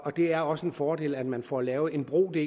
det er også en fordel at man får lavet en bro det